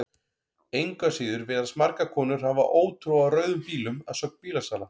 Engu að síður virðast margar konur hafa ótrú á rauðum bílum að sögn bílasala.